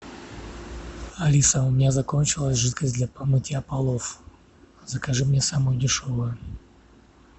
алиса у меня закончилась жидкость для мытья полов закажи мне самую дешевую